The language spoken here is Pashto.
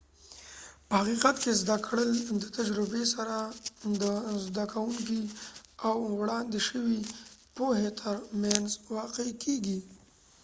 په حقیقت کې زده کړه د تجربې سره د زده کونکي او وړاندې شوي پوهې تر مینځ واقع کیږي